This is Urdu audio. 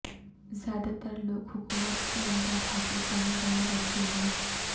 زیادہ تر لوگ حکومت کی امداد حاصل کرنے والے بچے ہیں